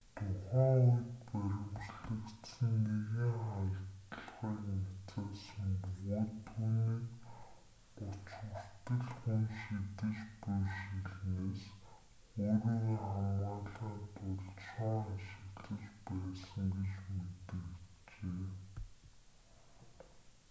тухайн үед баривчлагдсан нэгэн халдлагыг няцаасан бөгөөд түүнийг гуч хүртэл хүн шидэж буй шилнээс өөрийгөө хамгаалахын тулд шон ашиглаж байсан гэж мэдэгджээ